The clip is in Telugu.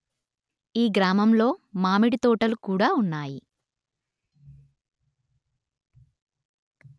ఈ గ్రామంలో మామిడి తోటలు కుడా ఉన్నాయి